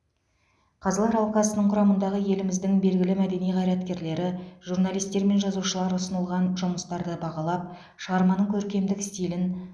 қазылар алқасының құрамындағы еліміздің белгілі мәдени қайраткерлері журналистер мен жазушылар ұсынылған жұмыстарды бағалап шығарманың көркемдік стилін